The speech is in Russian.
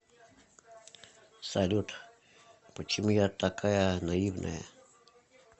салют почему я такая наивная